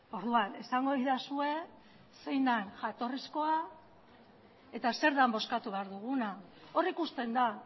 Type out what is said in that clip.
orduan esango didazue zein den jatorrizkoa eta zer den bozkatu behar duguna hor ikusten da